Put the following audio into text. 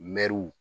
Mɛriw